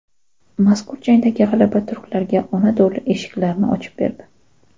Mazkur jangdagi g‘alaba turklarga Onado‘li eshiklarini ochib berdi.